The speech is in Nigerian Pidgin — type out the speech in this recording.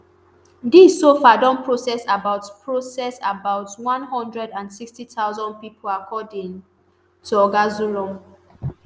dis so far don process about process about one hundred and sixty thousand pipo according to oga zulum